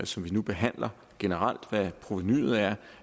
som vi nu behandler generelt hvad provenuet er